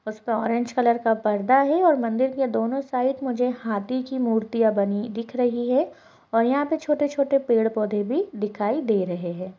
उस पे orange colour का पर्दा हैं और मंदिर के दोनो साइड मुझे हाथी की मूर्तियां बनी दिख रही हैं और यहाँ पे छोटे-छोटे पेड़-पौधें भी दिखाई दे रहे हैं।